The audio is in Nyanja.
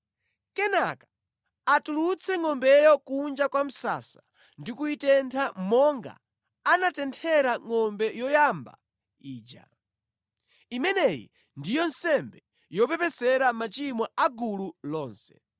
Kenaka atulutse ngʼombeyo kunja kwa msasa ndi kuyitentha monga anatenthera ngʼombe yoyamba ija. Imeneyi ndiyo nsembe yopepesera machimo a gulu lonse.